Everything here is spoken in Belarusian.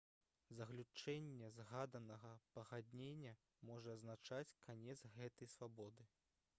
заключэнне згаданага пагаднення можа азначаць канец гэтай свабоды